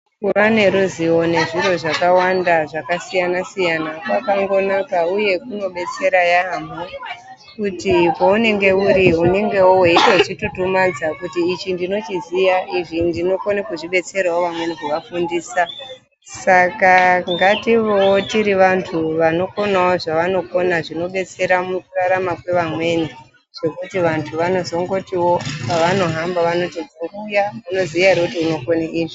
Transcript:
Kuva neruzivo nezviro zvakawanda zvakasiyana-siyana kwakangonaka uye kunobetsera yaamho kuti kwaunenge uri unengewo weitozvitutumadza kuti ichi ndochiziya izvi ndinokone kubetserawo vamweni kuvafundiisa. Saka ngativewo tiri vantu vanokonawo zvavanokona zvinodetsera mukurarama kwevamweni. Zvekuti vantu vanozongotiwo pavanohamba vanoti muntu uya munoziya ere kuti unokone izvi.